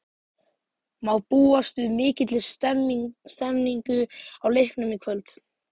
Má búast við mikilli stemningu á leiknum í kvöld?